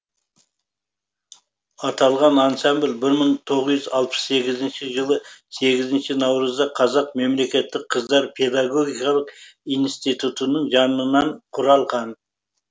аталған ансамбль бір мың тоғыз жүз алпыс сегізінші жылы сегізінші наурызда қазақ мемлекеттік қыздар педагогикалық институтының жанынан құралған